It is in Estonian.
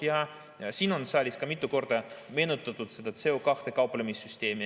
Ja siin on saalis mitu korda meenutatud seda CO2-ga kauplemise süsteemi.